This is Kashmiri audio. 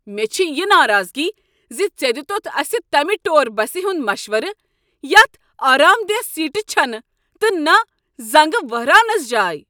مےٚ چھ یہ ناراضگی ز ژےٚ دیتتھ اسہ تمہ ٹوٗر بسہ ہنٛد مشورٕ یتھ آرامدیہہ سیٖٹہٕ چھنہٕ تہٕ نہٕ زنگہٕ وہراونس جاے۔